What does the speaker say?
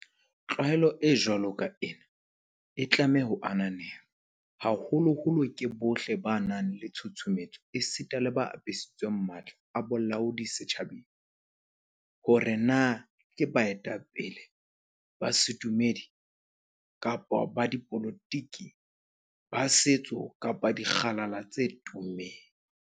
Tlwaelo e jwalo ka ena e tlameha ho ananelwa, haholoholo ke bohle ba nang le tshusumetso esita le ba apesitsweng matla a bolaodi setjhabeng, hore na ke baetapele ba sedumedi kapa ba dipolotiki, ba setso kapa dikgalala tse tummeng.